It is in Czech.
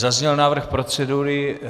Zazněl návrh procedury.